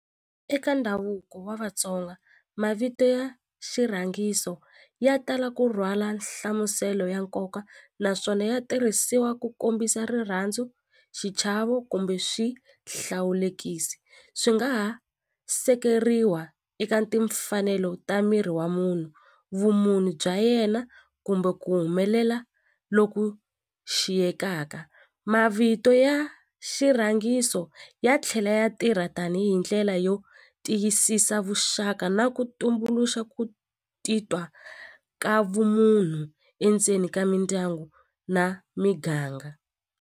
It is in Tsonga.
Eka ndhavuko wa Vatsonga mavito ya xirhangiso ya tala ku rhwala nhlamuselo ya nkoka naswona ya tirhisiwa ku kombisa rirhandzu xichavo kumbe swihlawulekisi swi nga ha sekeriwa eka timfanelo ta miri wa munhu vumunhu bya yena kumbe ku humelela loku xiyekaka mavito ya xirhangiso ya tlhela ya tirha tanihi ndlela yo tiyisisa vuxaka na ku tumbuluxa ku titwa ka vumunhu endzeni ka mindyangu na miganga.